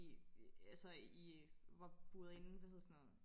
altså i var buret inde hvad hedder sådan noget